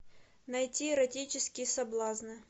найти эротические соблазны